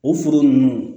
O foro ninnu